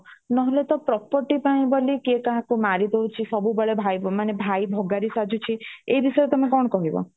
ନହଲେ ତ property ପାଇଁ ବୋଲି କିଏ କାହା କୁ ମାରି ଦଉଚି ସବୁ ବେଳେ ଭାଇ ମାନେ ଭାଇ ଭଗାରି ସାଜୁଛି ଏଇ ବିଷୟ ରେ ତମେ କଣ କହିବ